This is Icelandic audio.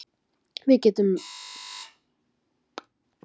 við getum skilgreint liti út frá okkar eigin litaskynjun